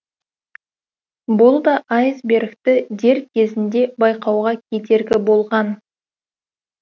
бұл да айсбергті дер кезінде байқауға кедергі болған